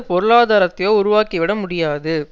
பொருளாதாரத்தையோ உருவாக்கிவிட முடியாது